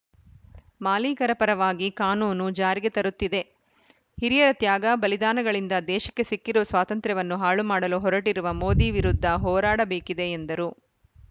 ಮಾಲೀಕರ ಪರವಾಗಿ ಕಾನೂನು ಜಾರಿಗೆ ತರುತ್ತಿದೆ ಹಿರಿಯರ ತ್ಯಾಗ ಬಲಿದಾನಗಳಿಂದ ದೇಶಕ್ಕೆ ಸಿಕ್ಕಿರುವ ಸ್ವಾತಂತ್ರವನ್ನು ಹಾಳು ಮಾಡಲು ಹೊರಟಿರುವ ಮೋದಿ ವಿರುದ್ಧ ಹೋರಾಡಬೇಕಿದೆ ಎಂದರು